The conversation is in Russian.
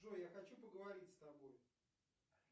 джой я хочу поговорить с тобой